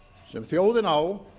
sem þjóðin á